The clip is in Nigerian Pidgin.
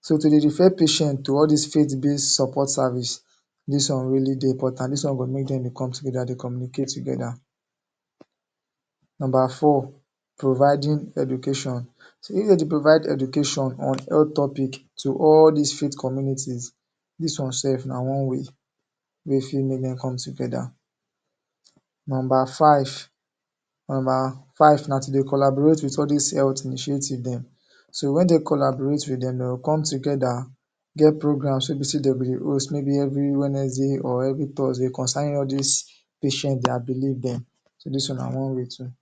so to dey refer patient to all these faith based support service.. Dis one really dey important. Dis one go make dey to come together, dey communicate together. Number four, providing education. So dey need to provide education on health topic to all dis faith communities. Dis one sef na one way wey dey fit make dem come together. Number five, number five na to dey collaborate wit all dis health initiative dem. So wen dey collaborate wit dem dey come together get program wey be say dem dey host every Wednesday or every Thursday concerning all dis patient dem, their belief dem. So dis one na one way too